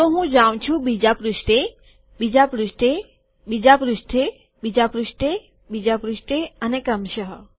જો હું જાઉં છું બીજા પૃષ્ઠે બીજા પૃષ્ઠે બીજા પૃષ્ઠે બીજા પૃષ્ઠે બીજા પૃષ્ઠે અને ક્રમશ